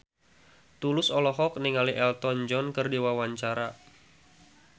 Tulus olohok ningali Elton John keur diwawancara